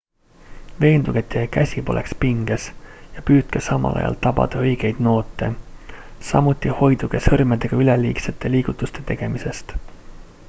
veenduge et teie käsi poleks pinges ja püüdke samal ajal tabada õigeid noote samuti hoiduge sõrmedega üleliigsete liigutuste tegemisest